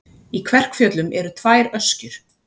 Í Kverkfjöllum eru tvær öskjur.